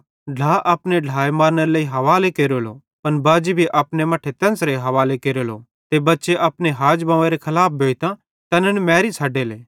ढ्ला ज़ै मीं पुड़ विश्वास न केरे तै अपने ढ्लाए मरानेरे लेई हवाले केरलो त बाजी भी अपने मट्ठे तेन्च़रां हवाले केरलो ते बच्चे अपने हाजबव्वेरे खलाफ भोइतां तैनन् मैरी छ़डेले